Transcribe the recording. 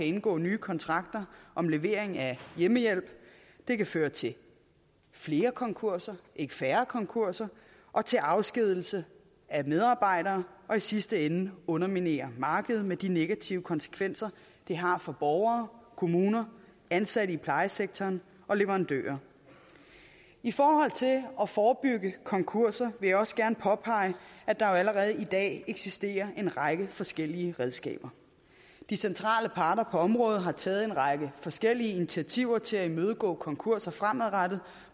indgå nye kontrakter om levering af hjemmehjælp det kan føre til flere konkurser ikke færre konkurser og til afskedigelse af medarbejdere og i sidste ende underminere markedet med de negative konsekvenser det har for borgere kommuner ansatte i plejesektoren og leverandører i forhold til at forebygge konkurser vil jeg også gerne påpege at der jo allerede i dag eksisterer en række forskellige redskaber de centrale parter på området har taget en række forskellige initiativer til at imødegå konkurser fremadrettet